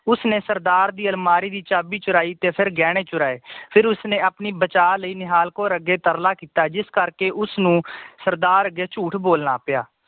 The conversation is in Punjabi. ਉਸਨੇ ਸਰਦਾਰ ਦੀ ਅਲਮਾਰੀ ਦੀ ਚਾਬੀ ਚੁਰਾਇ ਤੇ ਐਫਰ ਗਹਿਣੇ ਚੁਰਾਏ ਫਿਰ ਉਸਨੇ ਆਪਣੀ ਬਚਾਅ ਲਈ ਨਿਹਾਲ ਕੌਰ ਅੱਗੇ ਤਰਲਾ ਕੀਤਾ ਜਿਸ ਕਰਕੇ ਉਸਨੂੰ ਸਰਦਾਰ ਅੱਗੇ ਝੂਠ ਬੋਲਣਾ ਪਿਆ